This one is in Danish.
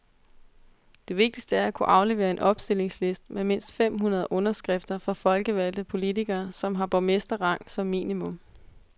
Det vigtigste er at kunne aflevere en opstillingsliste med mindst fem hundrede underskrifter fra folkevalgte politikere, som har borgmesterrang som minimum.